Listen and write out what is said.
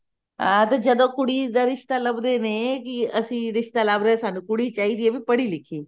ਅਮ ਤੇ ਜਦੋਂ ਕੁੜੀ ਦਾ ਰਿਸ਼ਤਾ ਲੱਭ ਦੇ ਕੇ ਅਸੀਂ ਰਿਸ਼ਤਾ ਲੱਭ ਰਹੇ ਸਨ ਕੁੜੀ ਚਾਹੀਦੀ ਹੈ ਵੀ ਪੜ੍ਹੀ ਲਿਖੀ